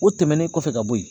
O tɛmɛnen kɔfɛ ka bɔ yen